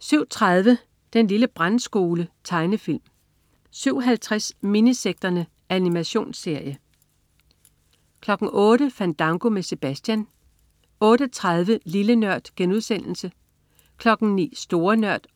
07.30 Den lille Brandskole. Tegnefilm 07.50 Minisekterne. Animationsserie 08.00 Fandango med Sebastian 08.30 Lille Nørd* 09.00 Store Nørd*